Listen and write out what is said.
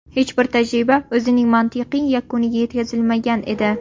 Hech bir tajriba o‘zining mantiqiy yakuniga yetkazilmagan edi.